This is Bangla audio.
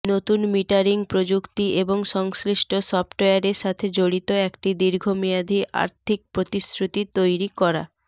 নতুন মিটারিং প্রযুক্তি এবং সংশ্লিষ্ট সফটওয়্যারের সাথে জড়িত একটি দীর্ঘমেয়াদী আর্থিক প্রতিশ্রুতি তৈরি করা